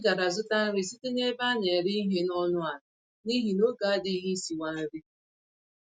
Anyị gàrà zụta nri site n'ebe a nere ìhè ọnụ àlà, n'ihi n'oge adịghị isiwa nri